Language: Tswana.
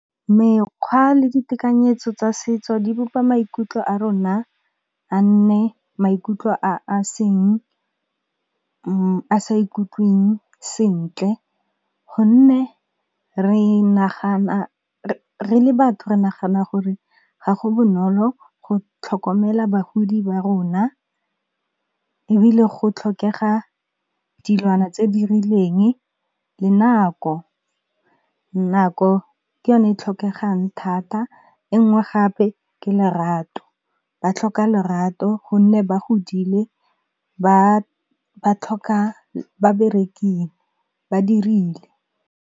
Mekgwa le ditekanyetso tsa setso di bopa maikutlo a rona a nne maikutlo a sa ikutlweng sentle. Go nne re le batho re nagana gore ga go bonolo go tlhokomela bagodi ba rona, ebile go tlhokega dilwana tse di rileng le nako. Nako ke yone e tlhokegang thata e ngwe gape ke lerato, ba tlhoka lerato gonne ba godile ba dirile.